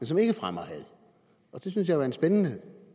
som ikke fremmer had det synes jeg er en spændende